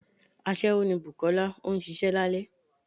aṣẹwo ní bùkolá, o n sìsé lálẹ